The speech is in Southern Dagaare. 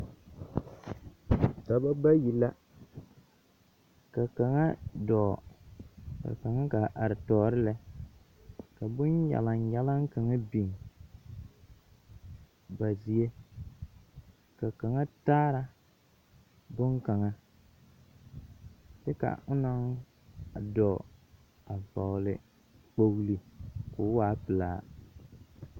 Dͻbͻ bayi la, ka kaŋa dͻͻ ka kaŋa gaa are tͻͻre lԑ. ka bonnyalannyalaŋ kaŋa biŋ ba zie. Ka kaŋa daara boŋkaŋa kyԑ ka onaŋ a dͻͻ a vͻgele kpooli koo waa pelaa.